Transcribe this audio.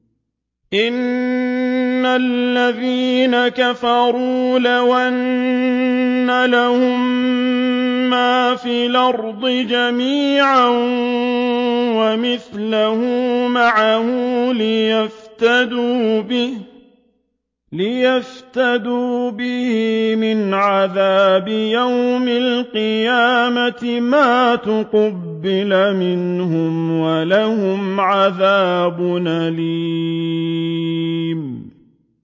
إِنَّ الَّذِينَ كَفَرُوا لَوْ أَنَّ لَهُم مَّا فِي الْأَرْضِ جَمِيعًا وَمِثْلَهُ مَعَهُ لِيَفْتَدُوا بِهِ مِنْ عَذَابِ يَوْمِ الْقِيَامَةِ مَا تُقُبِّلَ مِنْهُمْ ۖ وَلَهُمْ عَذَابٌ أَلِيمٌ